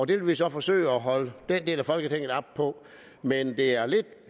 det vil vi så forsøge at holde den del af folketinget op på men det er lidt